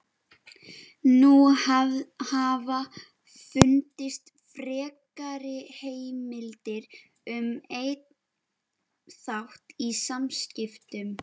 Nú hafa fundist frekari heimildir um einn þátt í samskiptum